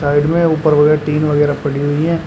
Side में व ऊपर वगैरा टीन वगैरा पड़ी हुई हैं।